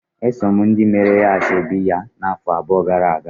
Esom ndị meere ya ashebi ya na-afọ abụọ gara-aga.